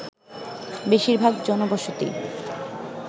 বেশিরভাগ জনবসতি